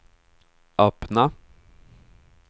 öppna